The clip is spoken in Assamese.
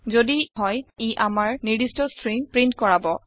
যদি হয় ই আমাৰ নিৰ্দিস্ট ষ্ট্ৰিং প্ৰীন্ট কৰাব